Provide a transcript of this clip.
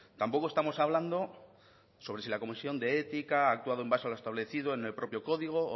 tampoco estamos hablando sobre si la comisión de ética ha actuado en base a los establecido en el propio código o